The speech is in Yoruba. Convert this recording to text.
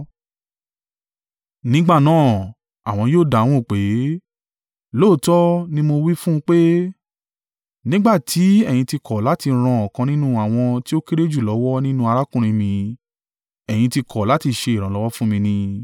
“Nígbà náà àwọn yóò dáhùn pé, ‘Lóòótọ́ ni mo wí fún pé, nígbà tí ẹ̀yin ti kọ̀ láti ran ọ̀kan nínú àwọn tí ó kéré jù lọ́wọ́ nínú arákùnrin mi, ẹ̀yin tí kọ̀ láti ṣe ìrànlọ́wọ́ fún mi ni.’